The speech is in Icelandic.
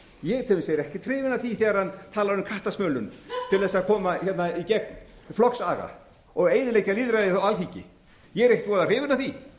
ég til dæmis er ekkert hrifinn af því þegar hann talar um kattasmölun til þess að koma hérna í gegn flokksaga og eyðileggja lýðræðið á alþingi ég er ekkert voða